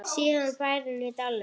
Síðasti bærinn í dalnum